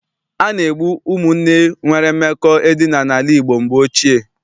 A na-egbu ụmụnne nwere mmekọ edina n'ala Igbo mgbe ochie.